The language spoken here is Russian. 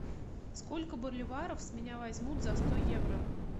сколько боливаров с меня возьмут за сто евро